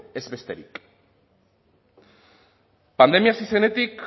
ez besterik pandemia hasi zenetik